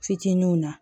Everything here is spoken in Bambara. Fitininw na